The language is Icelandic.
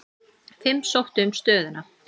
Fimm sóttu um stöðuna.